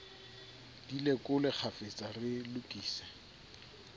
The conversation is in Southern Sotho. di lekole kgafetsa re lokise